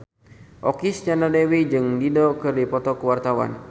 Okky Setiana Dewi jeung Dido keur dipoto ku wartawan